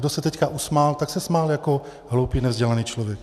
Kdo se teď usmál, tak se smál jako hloupý, nevzdělaný člověk.